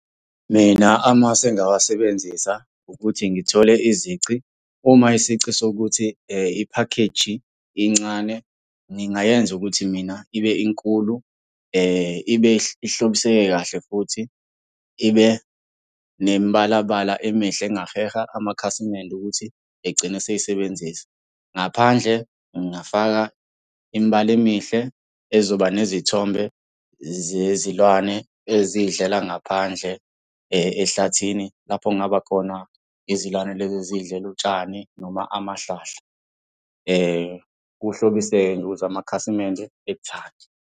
Mina amasu engingawasebenzisa, ukuthi ngithole izici. Uma isici sokuthi iphakheji incane, ngingayenza ukuthi mina ibe inkulu ibe ihlobiseke kahle, futhi ibe nemibala bala emihle engaheha amakhasimende ukuthi egcine esiyisebenzisa. Ngaphandle ngingafaka imibala emihle ezoba nezithombe zezilwane eziy'dlela ngaphandle ehlathini lapho okungaba khona izilwane lezi eziy'dlela utshani noma amahlahla. Uhlobise-ke ukuze amakhasimende ekuthande.